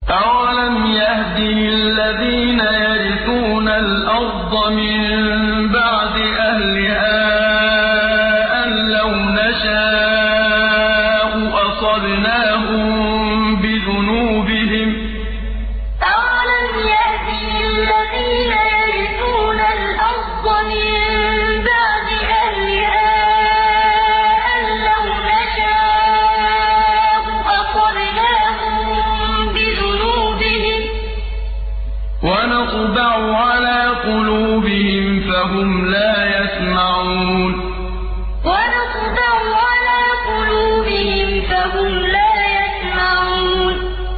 أَوَلَمْ يَهْدِ لِلَّذِينَ يَرِثُونَ الْأَرْضَ مِن بَعْدِ أَهْلِهَا أَن لَّوْ نَشَاءُ أَصَبْنَاهُم بِذُنُوبِهِمْ ۚ وَنَطْبَعُ عَلَىٰ قُلُوبِهِمْ فَهُمْ لَا يَسْمَعُونَ أَوَلَمْ يَهْدِ لِلَّذِينَ يَرِثُونَ الْأَرْضَ مِن بَعْدِ أَهْلِهَا أَن لَّوْ نَشَاءُ أَصَبْنَاهُم بِذُنُوبِهِمْ ۚ وَنَطْبَعُ عَلَىٰ قُلُوبِهِمْ فَهُمْ لَا يَسْمَعُونَ